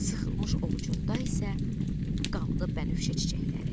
Sıxılmış ovucunda isə qanlı bənövşə çiçəkləri.